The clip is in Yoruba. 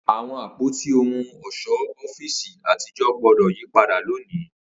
Awọn apoti ohun ọṣọ ọfiisi atijọ gbọdọ yipada loni!